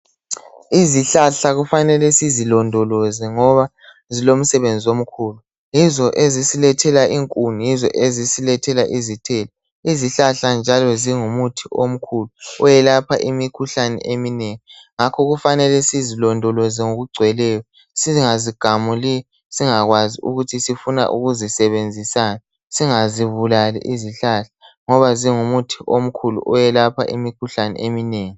Izihlahla kufanele sizilondoloze ngoba zilomsebenzi omkhulu yizo ezisilethela inkuni yizo njalo ezisilethela izithelo izihlahla njalo zingumuthi omkhulu okwelapha imikhuhlane eminengi ngakho kumele sizilondoloze ngokugcweleyo singazigamuli singazi ukuthi sifuna ukuzisebenzisani singazigabulali izihlahla ngoba zingumuthi omkhulu okwelapha imikhuhlane eminengi.